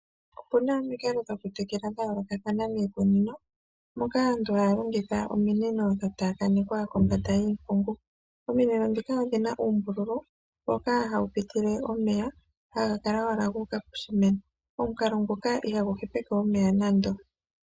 Opu na omikalo dhokutekela dha yoolokathana dhokuteleka miikunino, moka aantu haya longitha ominino dha taakanekwa kombanda yiimpungu. Ominino dhoka odhina uumbululu mboka hawu pitile omeya haga kala owala gu uka poshimeno. Omukalo nguka ihagu hepeke omeya nando.